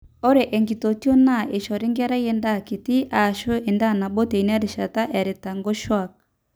ore enkitotio naa eishori nkera endaa kiti aashu endaa nabo teina rishata eerita nkoshuaak